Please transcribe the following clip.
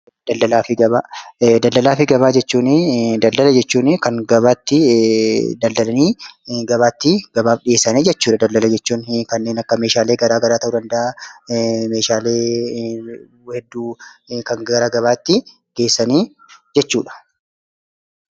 Daldala jechuuni kan gabaa itti daldalanii gabaafi gabaatti dhiyeessanii jechuudha daldala jechuun. Kanneen akka meeshaalee garagaraa ta'uu danda'a. Meeshaalee hedduu kan gara gabaatti geessani jechuudha.